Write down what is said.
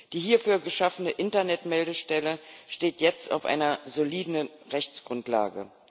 Die hierfür geschaffene Internet Meldestelle steht jetzt auf einer soliden Rechtsgrundlage.